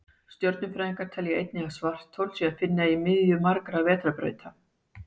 stjörnufræðingar telja einnig að svarthol sé að finna í miðju margra vetrarbrauta